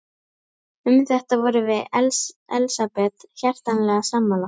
Um þetta vorum við Elsabet hjartanlega sammála.